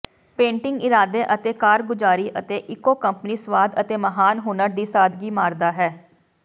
painting ਇਰਾਦੇ ਅਤੇ ਕਾਰਗੁਜ਼ਾਰੀ ਅਤੇ ਇੱਕੋ ਕੰਪਨੀ ਸੁਆਦ ਅਤੇ ਮਹਾਨ ਹੁਨਰ ਦੀ ਸਾਦਗੀ ਮਾਰਦਾ ਹੈ